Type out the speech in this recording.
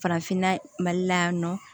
Farafinna mali la yan nɔ